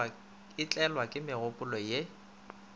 a tlelwa ke megopolo ye